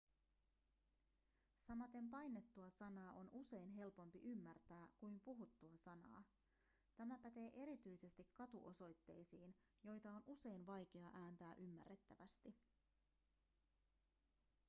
samaten painettua sanaa on usein helpompi ymmärtää kuin puhuttua sanaa tämä pätee erityisesti katuosoitteisiin joita on usein vaikea ääntää ymmärrettävästi